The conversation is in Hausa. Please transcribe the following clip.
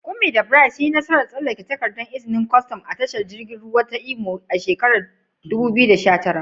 Kunmi da Bright sun yi nasarar tsallake takardar izinin kwastam a tashar jiragen ruwa ta Imo a shekarar 2019.